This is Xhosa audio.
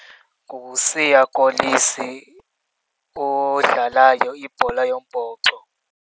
NguSiya Kolisi odlalayo ibhola yombhoxo.